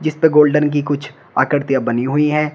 जिसपे गोल्डन की कुछ आकृतियां बनी हुई हैं।